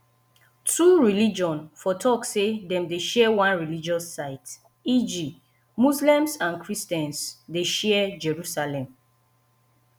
two religion for talk sey dem dey share one religious site eg muslims and christians dey share jerusalem